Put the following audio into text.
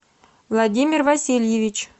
владимир васильевич